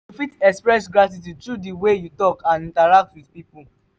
you fit express gratitude through di way you talk and interact with people.